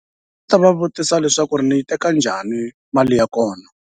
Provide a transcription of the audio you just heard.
Ta va vutisa leswaku ni yi teka njhani mali ya kona.